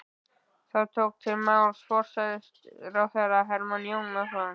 Þá tók til máls forsætisráðherra Hermann Jónasson.